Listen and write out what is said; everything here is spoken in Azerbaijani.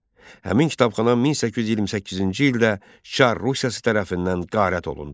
Həmin kitabxana 1828-ci ildə Çar Rusiyası tərəfindən qarət olundu.